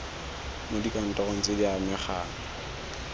mo dikantorong tse di amegang